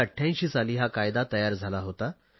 1988 साली हा कायदा तयार झाला होता